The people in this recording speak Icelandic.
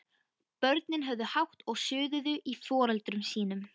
Börnin höfðu hátt og suðuðu í foreldrum sínum.